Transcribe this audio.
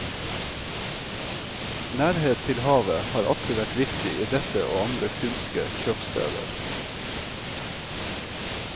Nærhet til havet har alltid vært viktig i dette og andre fynske kjøpsteder.